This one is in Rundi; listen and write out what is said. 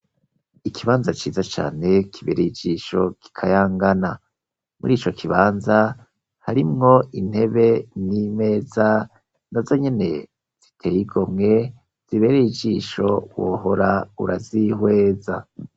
Ikibanza ciza cane, kibereye ijisho, gikayangana; muri ico kibanza, harimwo intebe n'imeza, na zo nyene ziteye igomwe, zibereye ijisho, wohora urazihweza.